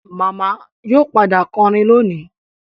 Màmá yóò padà kọrin lónìí